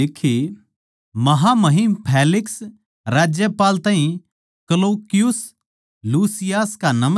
महामहिम फेलिक्स राज्यपाल ताहीं क्लौकियुस लुसियास का नमस्कार